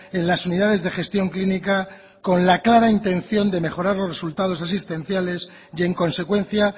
en las unidades de gestión clínica con la clara intención de mejorar los resultados asistenciales y en consecuencia